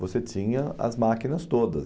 você tinha as máquinas todas.